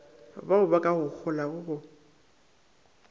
baoba ka go holago go